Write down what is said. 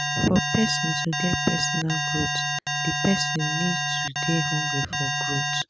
for person to get personal growth di person need to dey hungry for growth